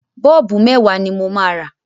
Bọ́ọ̀bù mẹ́wàá ni mo máa rà.